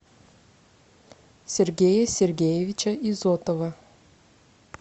сергея сергеевича изотова